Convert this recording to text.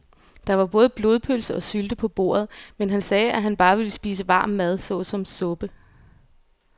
Der var både blodpølse og sylte på bordet, men han sagde, at han bare ville spise varm mad såsom suppe.